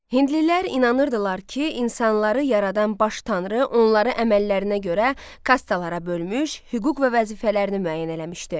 Hindlilər inanırdılar ki, insanları yaradan baş tanrı onları əməllərinə görə kastalar bölmüş, hüquq və vəzifələrini müəyyən eləmişdi.